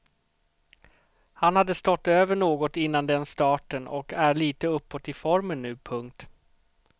Han hade stått över något innan den starten och är lite uppåt i formen nu. punkt